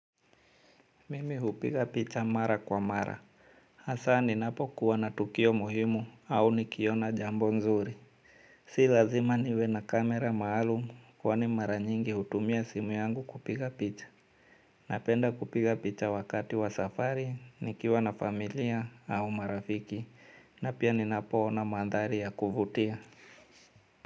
Mimi hupiga picha mara kwa mara. Hasa ninapokuwa na tukio muhimu au nikiona jambo nzuri. Si lazima niwe na kamera maalumu kwani mara nyingi hutumia simu yangu kupiga picha. Napenda kupiga picha wakati wa safari, nikiwa na familia au marafiki. Na pia ninapoona mandhari ya kuvutia.